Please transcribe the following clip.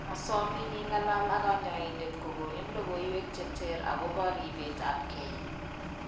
Asomin ing'alal ak kanyoindet kokoni logoywek cheter akobo ribeet ab kee